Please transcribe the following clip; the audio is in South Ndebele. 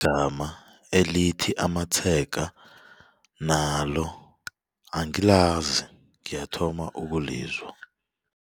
Igama elithi amatshega nalo angilazi ngiyathoma ukulizwa.